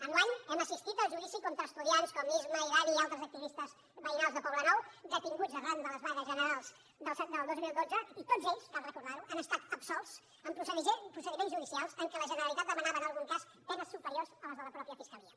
enguany hem assistit al judici contra estudiants com isma i dani i altres activistes veïnals de poblenou detinguts arran de les vagues generals del dos mil dotze i tots ells cal recordar ho han estat absolts en procediments judicials en què la generalitat demanava en algun cas penes superiors a les de la mateixa fiscalia